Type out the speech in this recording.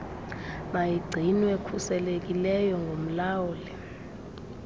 mayigcinwe khuselekileyo ngumlawuli